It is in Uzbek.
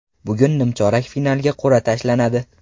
Bugun nimchorak finalga qur’a tashlanadi.